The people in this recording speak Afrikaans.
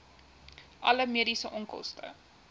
alle mediese onkoste